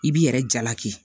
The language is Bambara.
I b'i yɛrɛ jalaki